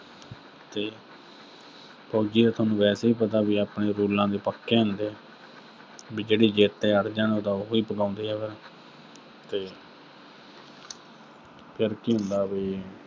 ਤੇ ਫੌਜੀ ਦਾ ਸੋਨੂੰ ਵੈਸੇ ਹੀ ਪਤਾ ਵੀ ਆਪਣੇ rules ਦੇ ਪੱਕੇ ਹੁੰਦੇ ਆ। ਵੀ ਜਿਹੜੀ ਜ਼ਿੱਦ ਤੇ ਅੜ ਜਾਣ, ਉਹ ਤਾਂ ਉਹੀ ਪੁਗਾਉਂਦੇ ਆ। ਤੇ ਫਿਰ ਕੀ ਹੁੰਦਾ ਬਈ